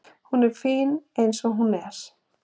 Hún er fín eins og hún er.